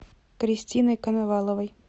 кристиной коноваловой